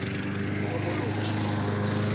tokoloshi